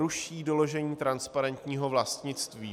Ruší doložení transparentního vlastnictví.